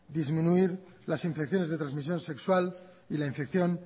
disminuir las infecciones de transmisión sexual y la infección